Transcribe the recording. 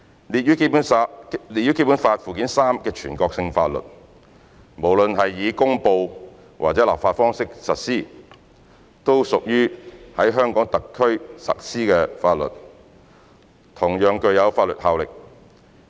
列於《基本法》附件三的全國性法律，無論是以公布或立法方式實施，都屬於在香港特區實施的法律，同樣具有法律效力。